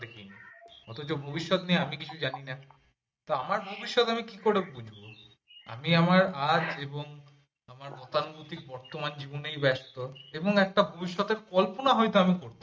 অথচ ভবিষ্যৎ নিয়ে আমি কিছু জানিনা তো আমার ভবিষ্যৎ আমি কি করে বুঝবো আমি আমার আর এবং গতানুগতিক বর্তমান জীবনেই ব্যস্ত এবং একটা ভবিষ্যতের কল্পনা হয়ত আমি করতে পারি।